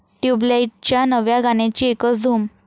ट्युबलाइट'च्या नव्या गाण्याची एकच धूम